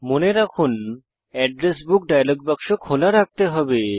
মনে রাখুন address book dialog বাক্স খোলা রাখতে হবে